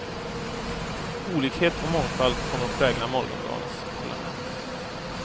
Olikhet och mångfald kommer att prägla morgondagens parlament.